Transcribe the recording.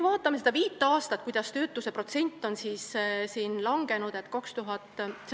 Vaatame, kuidas nende viie aasta jooksul on töötuse protsent langenud.